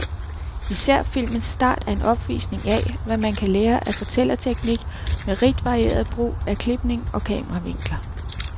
Især filmens start er en opvisning af, hvad man kan lære af fortællerteknik med rigt varieret brug af klipning og kameravinkler.